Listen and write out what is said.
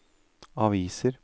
aviser